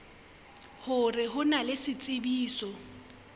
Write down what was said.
hore ho na le tshebetso